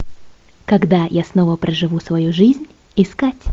когда я снова проживу свою жизнь искать